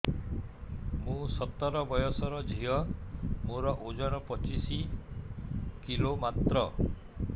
ମୁଁ ସତର ବୟସର ଝିଅ ମୋର ଓଜନ ପଚିଶି କିଲୋ ମାତ୍ର